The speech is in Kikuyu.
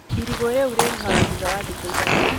Irigũ riũ rĩruhaga thutha wa thikũ ithatũ